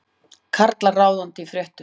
Karlar ráðandi í fréttum